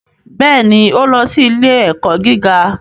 Bẹ́ẹ̀ ni, ó lọ sí ilé-ẹ̀kọ́ gíga